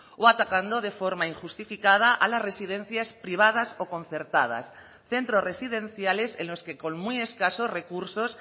o atacando de forma injustificada a las residencias privadas o concertadas centros residenciales en los que con muy escasos recursos